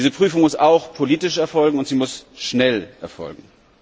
Diese Prüfung muss auch politisch erfolgen, und sie muss schnell erfolgen.